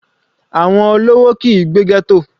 Àwọn olówó kìí gbé ghetto.